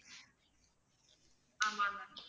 ஆமாம் ma'am